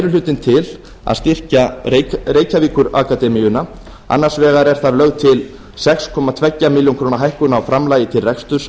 hlutinn til að styrkja reykjavíkurakademíuna annars vegar er þar lögð til sex komma tveimur milljónum króna hækkun á framlagi til reksturs